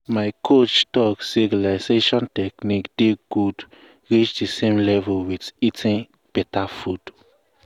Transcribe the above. my coach talk say relaxation technique dey good reach the same level with eating beta food.